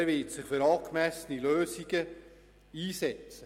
er wird sich für angemessene Lösungen einsetzen.